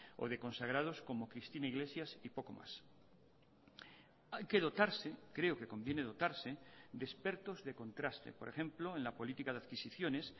o de consagrados como cristina iglesias y poco más hay que dotarse creo que conviene dotarse de expertos de contraste por ejemplo en la política de adquisiciones